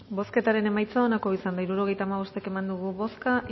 bozketaren emaitza onako izan da hirurogeita hamabost eman dugu bozka